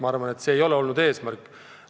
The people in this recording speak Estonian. Ma arvan, et see ei ole olnud eesmärk.